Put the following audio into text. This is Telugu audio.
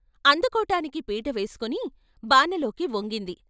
అందుకోటానికి పీట వేసుకుని బానలోకి వంగింది.